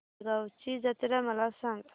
शेगांवची जत्रा मला सांग